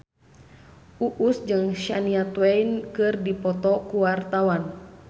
Uus jeung Shania Twain keur dipoto ku wartawan